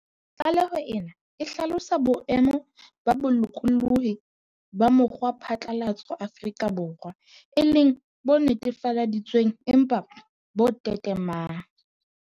Tlaleho ena e hlalosa boemo ba bolokolohi ba mokgwaphatlalatso Afrika Borwa e le "bo netefaleditswe ng empa bo tetemang".